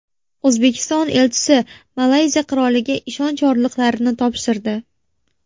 O‘zbekiston elchisi Malayziya Qiroliga ishonch yorliqlarini topshirdi.